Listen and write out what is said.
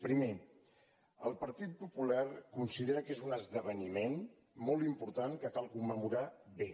primer el partit popular considera que és un esdeveniment molt important que cal commemorar bé